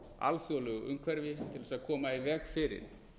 alþjóðlegu umhverfi til að koma í veg fyrir